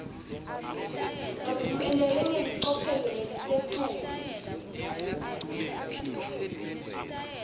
lophumelele ngelicophelo lelisetulu